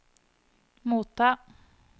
motta